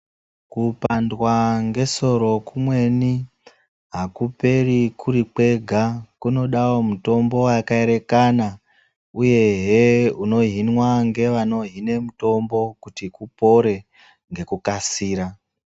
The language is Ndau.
Kupandwa ngesoro kumweni akuperi kuri kwega kunodao mutombo waka erekana uyehe unohinwa ngevaano hine mutombo kuti upore ngekukasira.